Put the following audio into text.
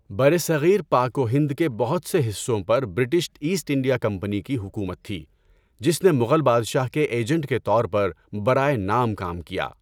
برصغیر پاک و ہند کے بہت سے حصوں پر برٹش ایسٹ انڈیا کمپنی کی حکومت تھی، جس نے مغل بادشاہ کے ایجنٹ کے طور پر برائے نام کام کیا۔